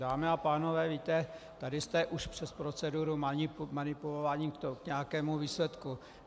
Dámy a pánové, víte, tady jste už přes proceduru manipulováni k nějakému výsledku.